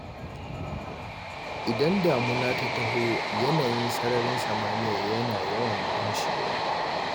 Idan damuna ta taho yanayin sararin samaniya yana yawan lumshewa.